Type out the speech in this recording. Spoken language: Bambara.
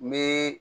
Ni